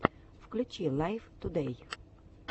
включи лайв тудэй